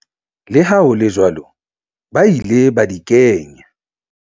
Le ha hole jwalo ba ile ba di kenya.